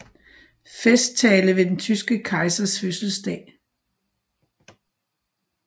Festtale ved den tyske kejsers fødselsdag